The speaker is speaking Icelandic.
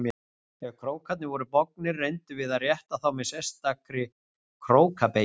Ef krókarnir voru bognir reyndum við að rétta þá með sérstakri króka- beygju.